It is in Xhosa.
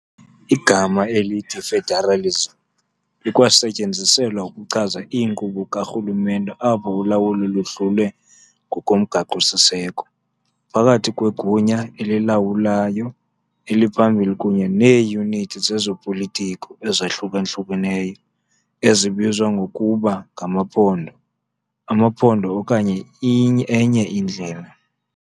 Igama elithi "federalism" likwasetyenziselwa ukuchaza inkqubo karhulumente apho ulawulo luhlulwe ngokomgaqo-siseko phakathi kwegunya elilawulayo eliphambili kunye neeyunithi zezopolitiko, ezahlukeneyo ezibizwa ngokuba ngamaphondo, amaphondo okanye enye indlela.